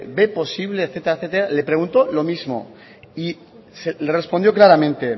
ve posible etcétera etcétera le preguntó lo mismo y le respondió claramente